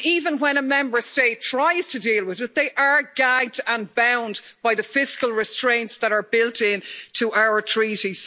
And even when a Member State tries to deal with it, they are gagged and bound by the fiscal restraints that are built in to our Treaties.